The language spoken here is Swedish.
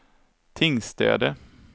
Tingstäde